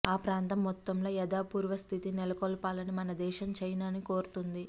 ఆ ప్రాంతం మొత్తంలో యధాపూర్వ స్థితిని నెలకొల్పాలని మన దేశం చైనాను కోరుతోంది